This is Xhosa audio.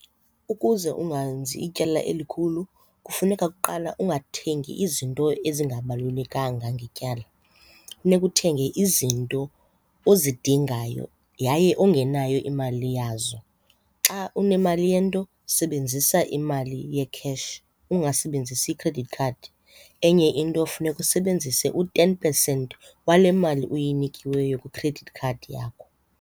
Ukuze ungenzi ityala elikhulu kufuneka kuqala ungathengi izinto ezingabalulekanga ngetyala. Funeka uthenge izinto ozidingayo yaye ongenayo imali yazo. Xa unemali yento sebenzisa imali ye-cash ungasebenzisi i-credit card. Enye into funeka usebenzise u-ten percent wale mali uyinikiweyo kwi-credit card yakho.